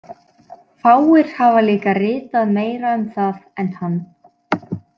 Fáir hafa líka ritað meira um það en hann.